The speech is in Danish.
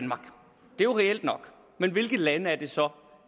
jo reelt nok men hvilke lande er det så